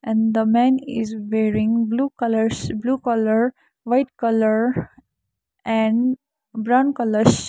the man is wearing blue colours blue colour white colour and brown colours.